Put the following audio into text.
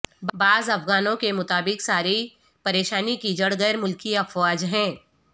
بعض افغانوں کے مطابق ساری پریشانی کی جڑ غیر ملکی افواج ہیں